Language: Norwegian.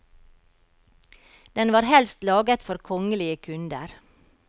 Den var helst laget for kongelige kunder.